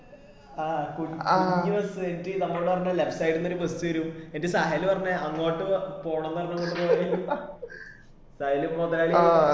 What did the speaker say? ആ കുഞ്ഞി bus എനിട്ട്‌ നമ്മോട് പറഞ്ഞു left side ന്ന് ഒരു bus വരു എന്നിട്ട് സഹല് പറഞ്ഞു അങ്ങോട്ട് പോണം പറഞ്ഞോണ്ട് നമ്മള് സഹല് പൊതയില്